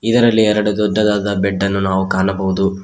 ಇದರಲ್ಲಿ ಎರಡು ದೊಡ್ಡದಾದ ಬೆಡ್ ಅನ್ನು ನಾವು ಕಾಣಬಹುದು.